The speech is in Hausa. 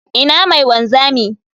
Ina mai wanzami?